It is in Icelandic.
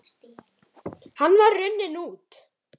Hann var runninn út